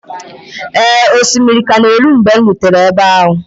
Ee, osimiri ka na-eru mgbe m rutere ebe ahụ